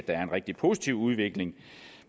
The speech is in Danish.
er en rigtig positiv udvikling